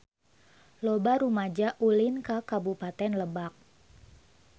Loba rumaja ulin ka Kabupaten Lebak